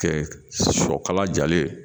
Kɛ sɔkala jalen ye